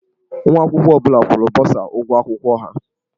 Nwa akwụkwọ ọ bụla kwụrụ bọsa ụgwọ akwụkwọ ha.